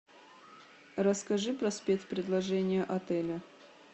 расскажи про спец предложения отеля